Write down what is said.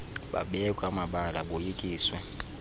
babekwa amabala boyikiswe